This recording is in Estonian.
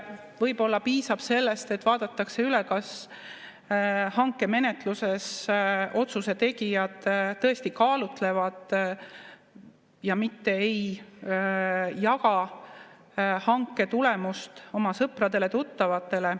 Võib-olla piisab sellest, et vaadatakse üle, kas hankemenetluses otsuse tegijad tõesti kaalutlevad, mitte ei jaga hanke tulemust oma sõpradele-tuttavatele.